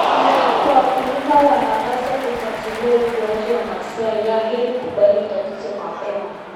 Wakulima wanapaswa kufuatilia ukuaji wa mazao yao ili kubaini tatizo mapema.